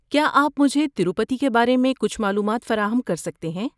کیا آپ مجھے تروپتی کے بارے میں کچھ معلومات فراہم کر سکتے ہیں؟